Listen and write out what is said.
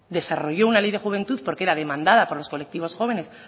desarrolló una ley de juventud porque era demandada por los colectivos jóvenes